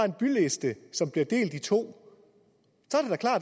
en byliste som bliver delt i to